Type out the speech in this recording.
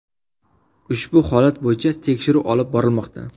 Ushbu holat bo‘yicha tekshiruv olib borilmoqda.